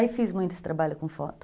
Aí fiz muito esse trabalho com foto.